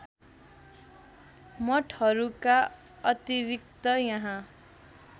मठहरूका अतिरिक्त यहाँ